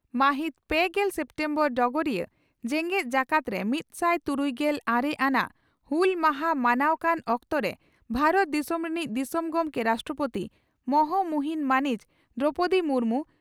ᱢᱟᱹᱦᱤᱛ ᱯᱮᱜᱮᱞ ᱥᱮᱯᱴᱮᱢᱵᱚᱨ (ᱰᱚᱜᱚᱨᱤᱭᱟᱹ) ᱺ ᱡᱮᱜᱮᱛ ᱡᱟᱠᱟᱛ ᱨᱮ ᱢᱤᱛᱥᱟᱭ ᱛᱩᱨᱩᱭᱜᱮᱞ ᱟᱨᱮ ᱟᱱᱟᱜ ᱦᱩᱞ ᱢᱟᱦᱟ ᱢᱟᱱᱟᱣ ᱠᱟᱱ ᱚᱠᱛᱚᱨᱮ ᱵᱷᱟᱨᱚᱛ ᱫᱤᱥᱚᱢ ᱨᱤᱱᱤᱡ ᱫᱤᱥᱚᱢ ᱜᱚᱢᱠᱮ (ᱨᱟᱥᱴᱨᱚᱯᱳᱛᱤ) ᱢᱚᱦᱚᱢᱩᱦᱤᱱ ᱢᱟᱹᱱᱤᱡ ᱫᱨᱚᱣᱯᱚᱫᱤ ᱢᱩᱨᱢᱩ